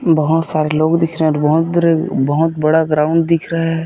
बहोत सारे लोग दिख रहे है और बहोत बड़े बहुत बड़ा ग्राउंड दिख रहे है ।